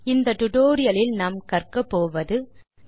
இந்த டுடோரியலின் முடிவில் நீங்கள் பின் வருவனவற்றை செய்ய முடியும்